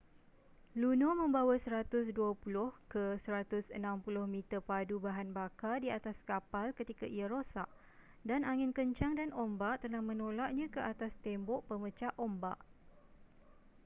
luno membawa 120-160 meter padu bahan bakar di atas kapal ketika ia rosak dan angin kencang dan ombak telah menolaknya ke atas tembok pemecah ombak